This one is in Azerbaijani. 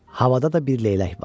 Havada da bir leylək vardı.